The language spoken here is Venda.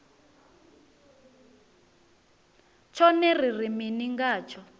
tshone ri ri mini ngatsho